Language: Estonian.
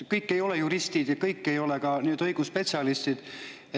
Kõik ei ole juristid ja kõik ei ole ka õigusspetsialistid.